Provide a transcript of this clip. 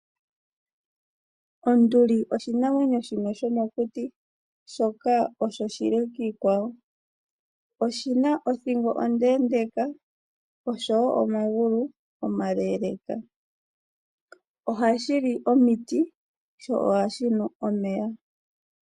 Onduli oshinamwenyo shomokuti shoka oshile kiikwawo. Oshi na othingo onde nosho wo omagulu omale. Ohashi li omiti, sho ohashi nu omeya.